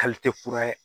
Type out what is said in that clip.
kura ye